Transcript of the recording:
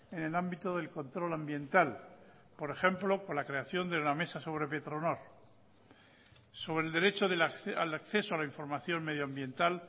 en el ámbito del control ambiental por ejemplo con la creación de la mesa sobre petronor sobre el derecho al acceso a la información medioambiental